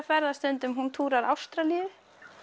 ferðast stundum hún túrar Ástralíu